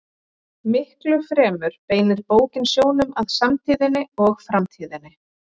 Miklu fremur beinir bókin sjónum að samtíðinni og framtíðinni.